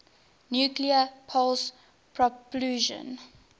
nuclear pulse propulsion